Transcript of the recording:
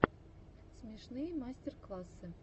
смешные мастер классы